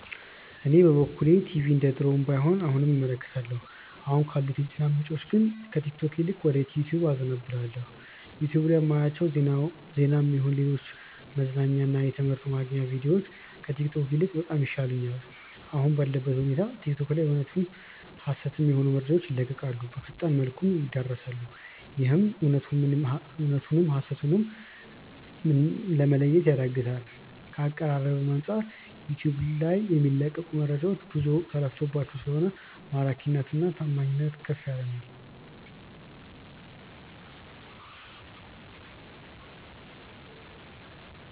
እኔ በበኩሌ ቲቪ እንደድሮው ባይሆንም አሁንም እመለከታለሁ። አሁን ካሉት የዜና ምንጮች ግን ከቲክቶክ ይልቅ ወደ ዩቲዩብ አዘነብላለው። ዩቲዩብ ላይ ማያቸው ዜናም ይሁን ሌሎች መዝናኛ እና ትምህርት ማግኛ ቪድዮዎች ከቲክቶክ ይልቅ በጣም ይሻሉኛል። አሁን ባለበት ሁኔታ ቲክቶክ ላይ እውነትም ሀሰትም የሆኑ መረጃዎች ይለቀቃሉ፣ በፈጣን መልኩም ይዳረሳሉ፤ ይህም እውነቱ ምን ሀሰቱ ም እንደሆነ ለመለየት ያዳግታል። ከአቀራረብም አንጻር ዩቲዩብ ልይ የሚለቀቁት መረጃዎች ብዙ ተለፍቶባቸው ስለሆነ ማራኪና ታማኒነቱም ከፍ ያለ ነው።